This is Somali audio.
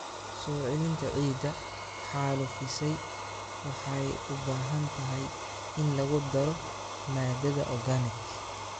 Soo celinta ciidda xaalufisay waxay u baahan tahay in lagu daro maadada organic.